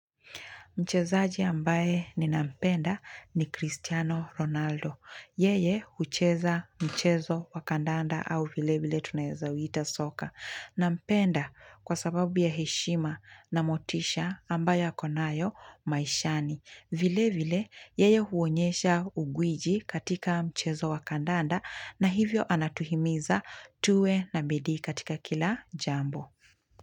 Mchezaji ambaye ninampenda ni Cristiano Ronaldo. Yeye ucheza mchezo wakandanda au vile vile tunayezauita soka. Nampenda kwa sababu ya heshima na motisha ambaye akonayo maishani. Vile vile yeye huonyesha uguwiji katika mchezo wakandanda na hivyo anatuhimiza tuwe na bidii katika kila jambo.